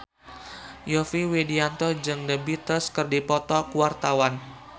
Yovie Widianto jeung The Beatles keur dipoto ku wartawan